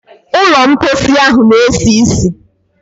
Ụlọ mposi ahụ na-esi ísì.